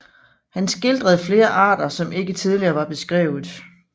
Han skildrede flere arter som ikke tidligere var beskrevet